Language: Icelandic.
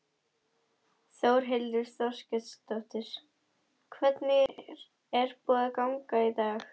Þórhildur Þorkelsdóttir: Hvernig er búið að ganga í dag?